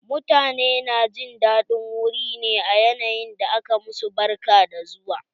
Mutane na jin daɗin wuri ne a yanayin da aka ma su barka da zuwa.